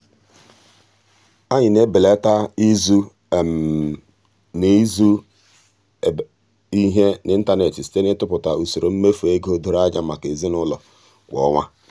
anyị na-ebelata izu na-ebelata izu ihe n'ịntanet site n'ịtụpụta usoro mmefu ego doro anya maka ezinụụlọ kwa ọnwa.